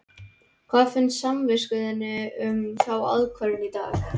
Hvað finnst samvisku þinni um þá ákvörðun í dag?